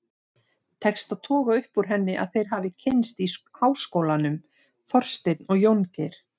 Tekst að toga upp úr henni að þeir hafi kynnst í háskólanum, Þorsteinn og Jóngeir.